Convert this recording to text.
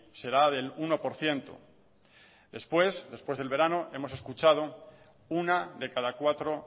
será del uno por ciento después después de verano hemos escuchado una de cada cuatro